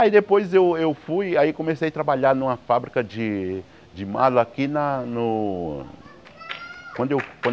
Aí depois eu eu fui, aí comecei a trabalhar numa fábrica de de mala aqui na no... Quando eu